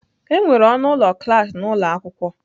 Enwere ọnụ ụlọ klas na ụlọ akwụkwọ.